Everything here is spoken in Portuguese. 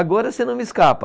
Agora você não me escapa.